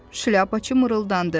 Şlyapaçı mırıldandı.